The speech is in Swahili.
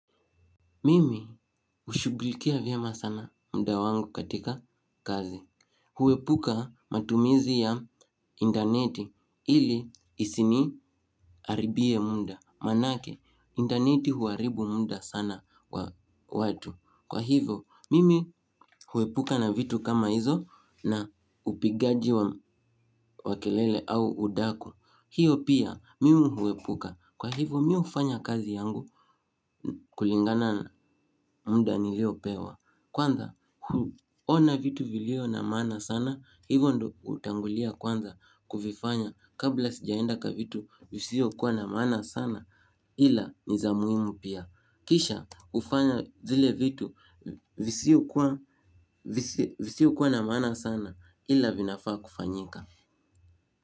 Mimi hushugulikia vyema sana muda wangu katika kazi. Huepuka matumizi ya intaneti ili isiniharibie muda. Maanake, intaneti huharibu muda sana wa watu. Kwa hivyo, mimi huepuka na vitu kama hizo na upigaji wa wa kelele au udaku. Hiyo pia, mimi huepuka. Kwa hivyo, mimi hufanya kazi yangu kulingana na muda niliyopewa. Kwanza ona vitu vilivyo na maana sana hivyo ndivyo hutangulia kwanza kuvifanya kabla sijaenda kwa vitu visivyo kuwa na maana sana ila ni za umuhimu pia. Kisha hufanya zile vitu visivyo kuwa na maana sana ila vinafaa kufanyika.